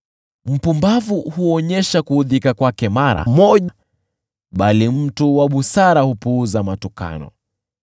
Mpumbavu huonyesha kuudhika kwake mara moja, bali mtu wa busara hupuuza matukano.